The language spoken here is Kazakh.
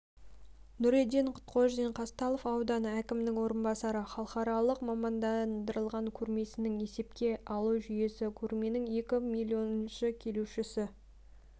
нұретден құтқожин қазталов ауданы әкімінің орынбасары халықаралық мамандандырылған көрмесінің есепке алу жүйесі көрменің екі миллионыншы келушіні